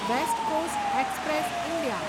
waste coast express India